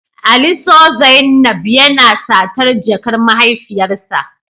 Ali Saw zainab yana satar jakar mahaifiyarsa